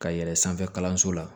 Ka yɛlɛn sanfɛ kalanso la